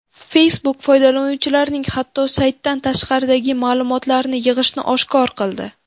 Facebook foydalanuvchilarning hatto saytdan tashqaridagi ma’lumotlarini yig‘ishini oshkor qildi.